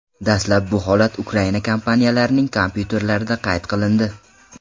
Dastlab bu holat Ukraina kompaniyalarining kompyuterlarida qayd qilindi.